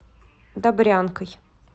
добрянкой